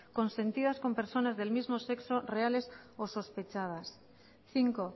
consentidas con personas del mismo sexo reales o sospechadas cinco